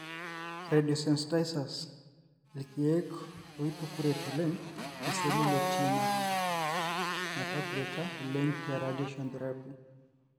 Radiosensitizers:ilkeek oitukuret oleng iseli le tumor metakureta oleng te radiation therapy